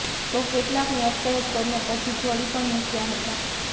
તો કેટલાકની અટકાયત કરીને પછી છોડી પણ મૂક્યા હતા